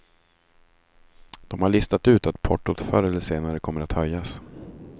De har listat ut att portot förr eller senare kommer att höjas.